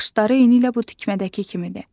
Naxışları eynilə bu tikmədəki kimidir.